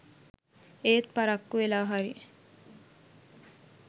එත් පරක්කු වෙලා හරි